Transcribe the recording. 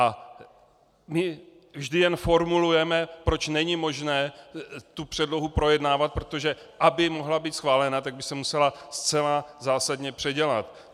A my vždy jen formulujeme, proč není možné tu předlohu projednávat, protože aby mohla být schválena, tak by se musela zcela zásadně předělat.